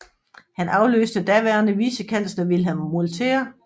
Han afløste daværende vicekansler Wilhelm Molterer